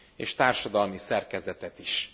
és társadalmi szerkezetet is.